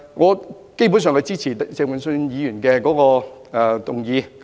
我基本上是支持鄭泳舜議員的議案。